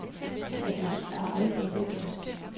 Og det er aldrig lykkedes.